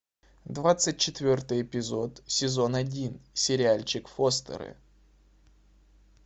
двадцать четвертый эпизод сезон один сериальчик фостеры